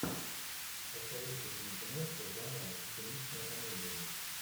посоветуй мне киношку жанра циничная комедия